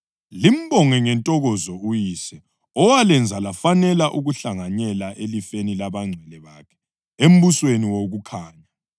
limbonge ngentokozo uYise owalenza lafanela ukuhlanganyela elifeni labangcwele bakhe embusweni wokukhanya.